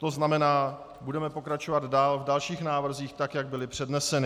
To znamená, budeme pokračovat v dalších návrzích tak, jak byly předneseny.